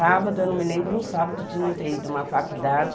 Sábado, eu não me lembro um sábado de não ter ido a uma faculdade.